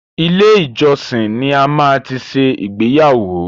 Ilé ìjọsìn ni a máa ti ṣe ìgbéyàwó.